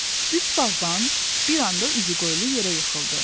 Üç bağban bir anda üzü qoyulu yerə yıxıldı.